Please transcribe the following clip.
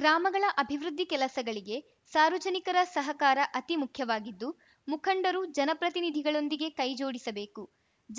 ಗ್ರಾಮಗಳ ಅಭಿವೃದ್ಧಿ ಕೆಲಸಗಳಿಗೆ ಸಾರ್ವಜನಿಕರ ಸಹಕಾರ ಅತಿ ಮುಖ್ಯವಾಗಿದ್ದು ಮುಖಂಡರು ಜನಪ್ರತಿನಿಧಿಗಳೊಂದಿಗೆ ಕೈಜೋಡಿಸಬೇಕು